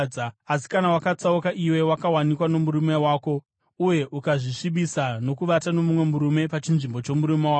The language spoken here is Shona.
Asi kana wakatsauka iwe wakawanikwa nomurume wako uye ukazvisvibisa nokuvata nomumwe murume pachinzvimbo chomurume wako,”